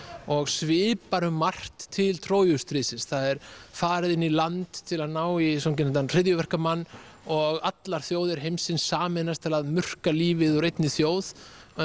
og svipar um margt til Trójustríðsins það er farið inn í land til að ná í svonefndan hryðjuverkamann og allar þjóðir heimsins sameinast til að murka lífið úr einni þjóð